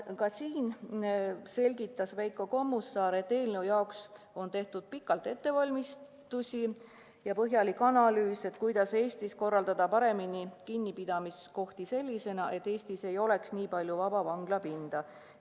Ka seal selgitas Veiko Kommusaar, et eelnõu jaoks on tehtud pikalt ettevalmistusi ja põhjalik analüüs, kuidas kinnipidamiskohtade töö paremini korraldada, pidades silmas, et Eestis ei oleks nii palju vaba vanglapinda.